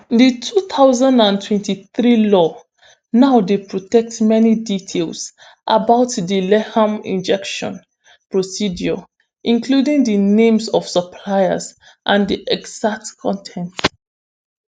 di two thousand and twenty-three law now dey protect many details about di lethal injection procedure including di names of suppliers and di exact con ten ts